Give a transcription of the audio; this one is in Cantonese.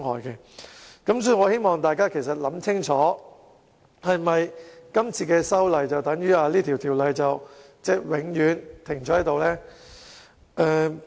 因此，我希望大家清楚考慮，如果有關議案獲得通過，是否等於法例永遠停滯不前？